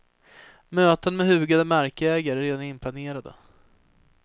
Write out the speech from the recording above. Möten med hugade markägare är redan inplanerade.